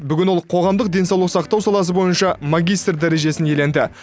бүгін ол қоғамдық денсаулық сақтау саласы бойынша магистр дәрежесін иеленді